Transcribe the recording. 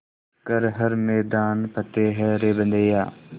कर हर मैदान फ़तेह रे बंदेया